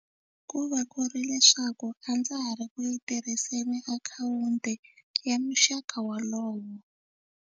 Ku va ku ri leswaku a ndza ha ri ku yi tirhiseni tiakhawunti ya muxaka wolowo.